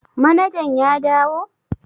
Manajan ya dawo?